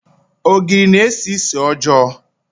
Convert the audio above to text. Ogiri na-esi ísì ọjọọ.